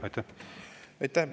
Aitäh!